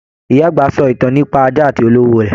Ìyá àgbà sọ ìtàn nípa ajá àti olówó rẹ.